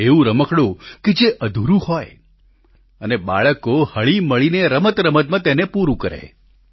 એવું રમકડું જે અધૂરું હોય અને બાળકો હળીમળીને રમતરમતમાં તેને પૂરું કરે